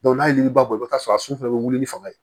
n'a ye yiri bɔ i bi t'a sɔrɔ a sun fana bɛ wuli ni fanga ye